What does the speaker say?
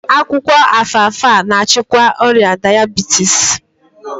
Akwụkwọ Alfalfa na-achịkwa ọrịa dayabitis